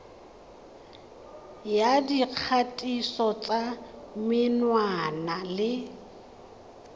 ya dikgatiso tsa menwana le